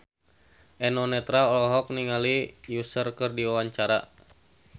Eno Netral olohok ningali Usher keur diwawancara